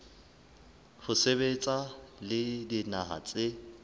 ho sebetsa le dinaha tse